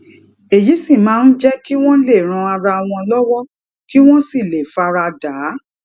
èyí sì máa ń jé kí wón lè ran ara wọn lówó kí wón sì lè fara dà á